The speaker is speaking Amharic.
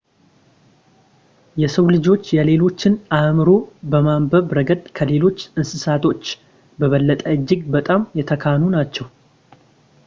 የሰው ልጆች የሌሎችን አእምሮ በማንበብ ረገድ ከሌሎች እንስሳቶች በበለጠ እጅግ በጣም የተካኑ ናቸው